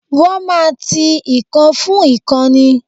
Wọ́n máa ti ìkan fún ìkan ni.